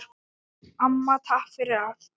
Amma, takk fyrir allt.